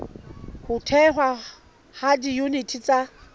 ho thehwa ha diyuniti tsa